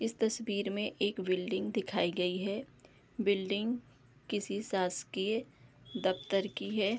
इस तस्वीर में एक बिल्डिंग दिखाई गयी है बिल्डिंग किसी शासकीय दफ्तर की है।